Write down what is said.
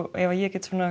ef ég get